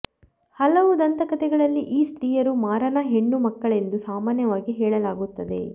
ಹಲವು ದಂತಕಥೆಗಳಲ್ಲಿ ಈ ಸ್ತ್ರೀಯರು ಮಾರನ ಹೆಣ್ಣು ಮಕ್ಕಳೆಂದು ಸಾಮಾನ್ಯವಾಗಿ ಹೇಳಲಾಗುತ್ತದೆ